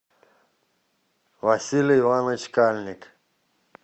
василий иванович кальник